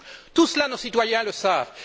Tout cela, nos citoyens le savent.